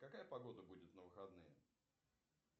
какая погода будет на выходные